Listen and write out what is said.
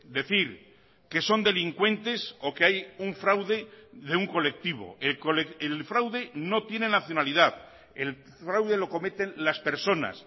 decir que son delincuentes o que hay un fraude de un colectivo el fraude no tiene nacionalidad el fraude lo cometen las personas